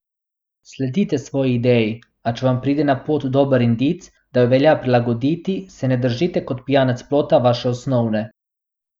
Sledite svoji ideji, a če vam pride na pot dober indic, da jo velja prilagoditi, se ne držite kot pijanec plota vaše osnovne.